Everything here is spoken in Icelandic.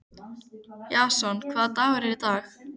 Jason, hvaða dagur er í dag?